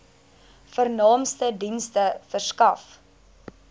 vernaamste dienste verskaf